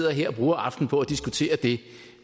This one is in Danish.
her og bruger aftenen på at diskutere det